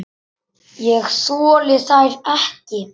Ég þoli þær ekki.